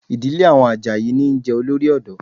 Ìdílé àwọn Àjàyí níí jẹ Olórí ọ̀dọ́